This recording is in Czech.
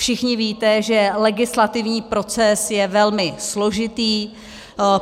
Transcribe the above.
Všichni víte, že legislativní proces je velmi složitý.